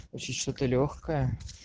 вообще что-то лёгкое